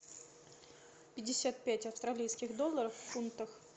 пятьдесят пять австралийских долларов в фунтах